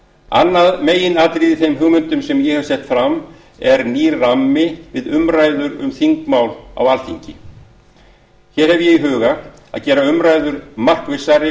annað meginatriði í þeim hugmyndum sem ég hef sett fram er nýr rammi við umræður um þingmál á alþingi hér hef ég í huga að gera umræður markvissari